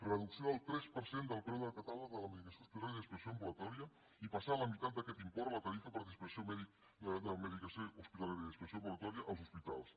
reducció del tres per cent del preu de catàleg de la medicació hospitalària i de dispensació ambulatòria i passar la meitat d’aquest import a la tarifa per dispensació de medicació hospitalària i dispensació ambulatòria als hospitals